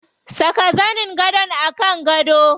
Saka zanin gadon a kan gado.